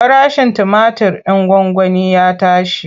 Farashin tumatir ɗin gwangwani ya tashi.